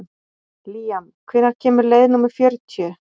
Líam, hvenær kemur leið númer fjörutíu?